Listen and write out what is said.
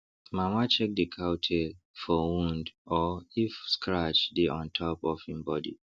mama check the cow tail for wound or if scratch dey on top of en body